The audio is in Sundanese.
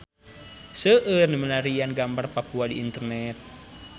Seueur nu milarian gambar Papua di internet